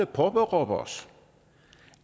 påberåber os